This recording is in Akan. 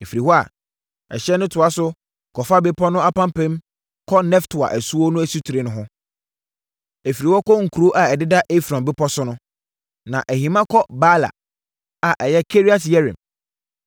Ɛfiri hɔ a, ɛhyeɛ no toa so kɔfa bepɔ no apampam kɔ Neftoa asuo no asutire no ho. Ɛfiri hɔ kɔ nkuro a ɛdeda Efron bepɔ so no. Na ɛhima kɔ Baala (a ɛyɛ Kiriat-Yearim.)